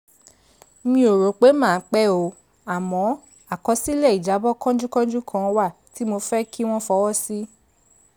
mi ò rò pé màá pẹ́ o àmọ́ àkọsílẹ̀ ìjábọ̀ kánjúkánjú kan wà tí mo fẹ́ kí wọ́n fọwọ́ sí